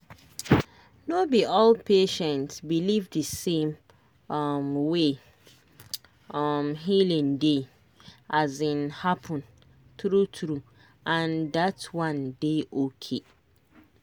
no be all patient believe the same um way um healing dey um happen true true—and that one dey okay.